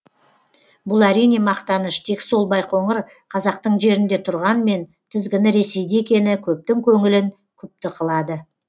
бұл әрине мақтаныш тек сол байқоңыр қазақтың жерінде тұрғанмен тізгіні ресейде екені көптің көңілін күпті қылады